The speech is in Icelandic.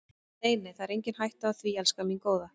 Nei, nei, það er engin hætta á því, elskan mín góða.